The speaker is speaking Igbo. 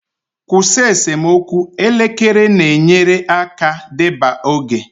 Kwụsị esemokwu, elekere na-enyere aka deba oge.